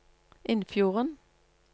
Innfjorden